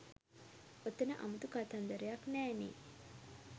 ඔතන අමුතු කතන්දරයක් නෑ නේ